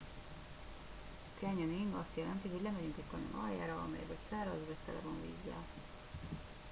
a canyoning azt jelenti hogy lemegyünk egy kanyon aljára amely vagy száraz vagy tele van vízzel